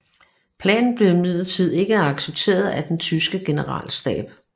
Planen blev imidlertid ikke accepteret af den tyske generalstab